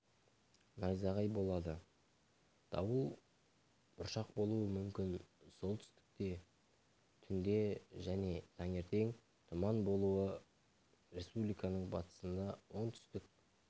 найзағай болады дауыл бұршақ болуы мүмкін солтүстікте түнде және таңертең тұман болады республиканың батысында оңтүстік